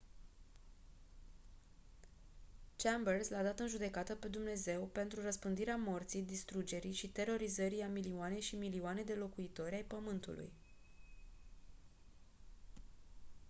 chambers l-a dat în judecată pe dumnezeu pentru «răspândirea morții distrugerii și terorizării a milioane și milioane de locuitori ai pământului».